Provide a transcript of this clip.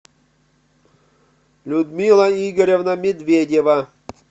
людмила игоревна медведева